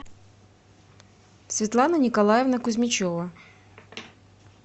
светлана николаевна кузьмичева